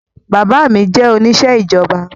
Bàbá mi jẹ́ oníṣẹ́ ìjọba